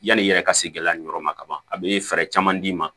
Yanni i yɛrɛ ka se gɛlɛya nin yɔrɔ ma ka ban a bɛ fɛɛrɛ caman d'i ma